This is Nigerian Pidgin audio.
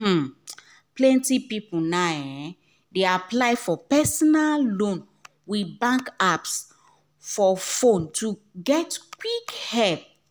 um plenty people now um dey apply for personal loan with bank apps for fone to get quick help um